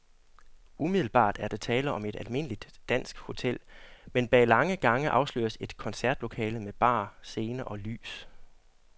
Umiddelbart er der tale om et almindeligt dansk hotel, men bag lange gange afsløres et koncertlokale med bar, scene og lys.